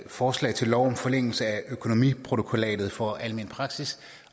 forslag til lov om forlængelse af økonomiprotokollatet for almen praksis